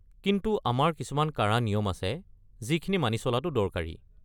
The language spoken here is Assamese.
কিন্তু আমাৰ কিছুমান কাঢ়া নিয়ম আছে যিখিনি মানি চলাটো দৰকাৰী।